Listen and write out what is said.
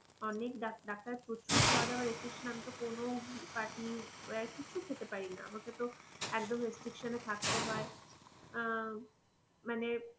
অনেক ডাক্তার~ডাক্তার প্রচুর খাওয়া দাওয়া restriction আমি তো কোনো party wear কিছুই খেতে পারি না, আমাকে তো একদম restriction এ থাকতে হয় আহ মানে,